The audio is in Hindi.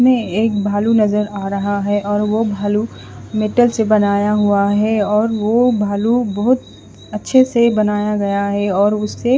में एक भालू नज़र आ रहा है और वो भालू मीटल से बनाया हुआ है और वो भालू बोहोत अच्छे से बनाया गया है और उसे--